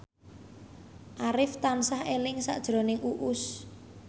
Arif tansah eling sakjroning Uus